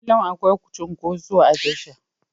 Kullum akwai cunkoso a tasha